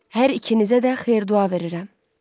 Hər ikinizə də xeyir-dua verirəm.